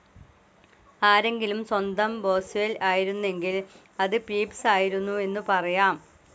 ആരെങ്കിലും സ്വന്തം ബോസ്വെൽ ആയിരുന്നെങ്കിൽ അത് പീപ്സ്‌ ആയിരുന്നു എന്നു പറയാം.